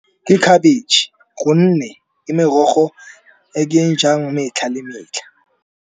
Ke khabetšhe gonne ke merogo e ke jang metlha le metlha.